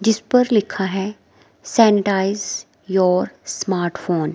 जिस पर लिखा है सेनेटाइज योर स्माटफोन ।